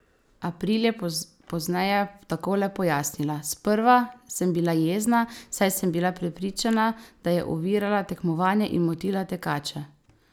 April je pozneje takole pojasnila: "Sprva sem bila jezna, saj sem bila prepričana, da je ovirala tekmovanje in motila tekače.